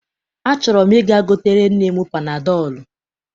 Achọrọ m ị̀ga gotere nne m panadọọlụ.